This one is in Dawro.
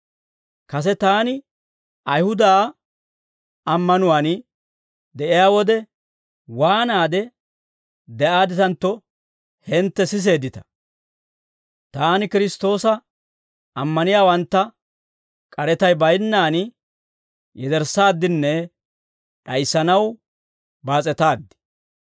Kase taani Ayihuda ammanuwaan de'iyaa wode, waanaade de'aadditantto, hintte siseeddita; taani Kiristtoosa ammaniyaawantta k'aretay baynnaan yederssaaddinne d'ayissanaw baas'etaaddi.